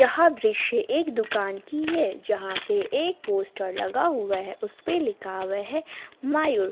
यह दृश्य एक दुकान की हैं जहां पे एक पोस्टर लगा हुआ हैं उस पे लिखा हुआ हैं मायूर।